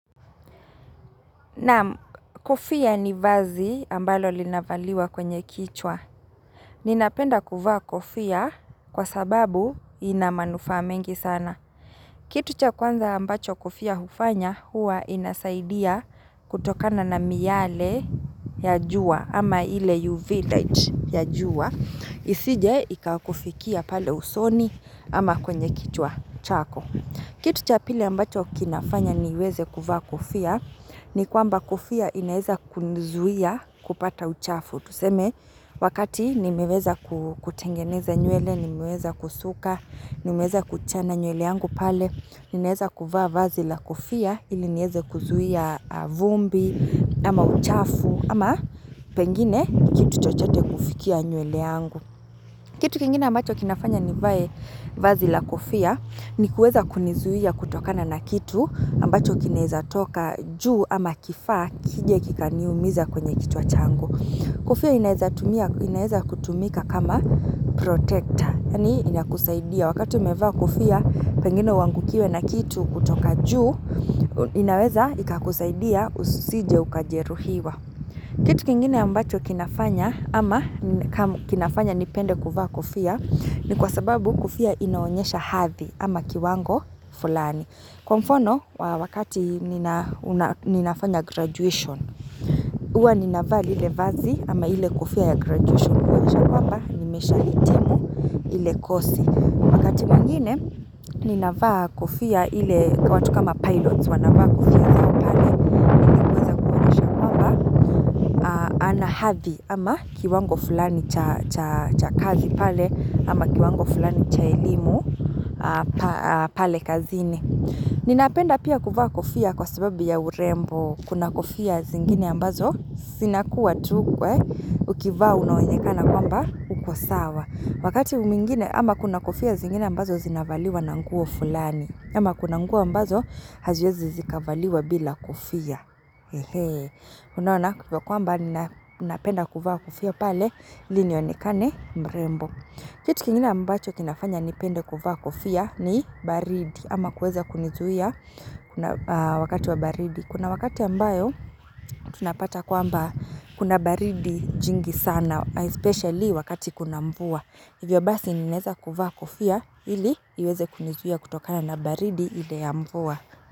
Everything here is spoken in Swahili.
Naam kofia ni vazi ambalo linavaliwa kwenye kichwa. Ninapenda kuvaa kofia kwa sababu inamanufaa mengi sana. Kitu cha kwanza ambacho kofia hufanya huwa inasaidia kutokana na miyale ya jua ama ile UV light ya jua. Isije ikakufikia pale usoni ama kwenye kichwa chako. Kitu cha pili ambacho kinafanya niweze kuvaa kofia, ni kwamba kofia inaeza kunizuia kupata uchafu. Tuseme, wakati nimeweza kutengeneza nywele, nimeweza kusuka, nimeweza kuchana nywele yangu pale, ninaweza kuvaa vazi la kofia, ili nieze kuzuia vumbi, ama uchafu, ama pengine kitu chochote kufikia nywele yangu. Kitu kingine ambacho kinafanya nivae vazi la kofia ni kuweza kunizuia kutokana na kitu ambacho kinaweza toka juu ama kifaa kije kikaniumiza kwenye kichwa changu. Kofia inaeza tumia inaweza kutumika kama protector. Yaani ina kusaidia wakati umevaa kofia pengine uangukiwe na kitu kutoka juu inaweza ikakusaidia usije ukajeruhiwa. Kitu kingine ambacho kinafanya ama kinafanya nipende kuvaa kofia ni kwa sababu kofia inaonyesha hathi ama kiwango fulani. Kwa mfano wakati ninafanya graduation, huwa ninavaa lile vazi ama ile kofia ya graduation kuonyesha kwamba nimesha hitimu ile kosi. Wakati mwengine, ninavaa kofia ile kwa watu kama pilots, wanavaa kofia zao pale ilikuweza kuonyesha kwamba ana hathi ama kiwango fulani cha kazi pale ama kiwango fulani cha elimu pale kazini. Ninapenda pia kuvaa kofia kwa sababu ya urembo, kuna kofia zingine ambazo, sinakuwa tu kwe, ukivaa unaonekana kwamba, uko sawa. Wakati mwingine, ama kuna kofia zingine ambazo zinavaliwa nanguo fulani. Ama kuna nanguo ambazo, haziwezi zikavaliwa bila kofia. Unaoana kama kwamba ninapenda kuvaa kofia pale, ilinionekane mrembo. Kitu kingine ambacho kinafanya nipende kuvaa kofia ni baridi, ama kuweza kunizuia wakati wa baridi. Kuna wakati ambayo, tunapata kwamba kuna baridi jingi sana, especially wakati kuna mvua. Hivyo basi ninaeza kuvaa kofia ili iweze kunizuia kutokana na baridi ile ya mvua.